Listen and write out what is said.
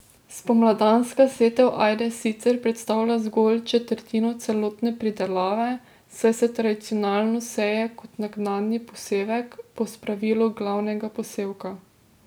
Spomladanska setev ajde sicer predstavlja zgolj četrtino celotne pridelave, saj se tradicionalno seje kot naknadni posevek, po spravilu glavnega posevka.